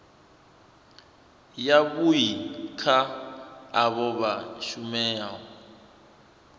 yavhui kha avho vha shumaho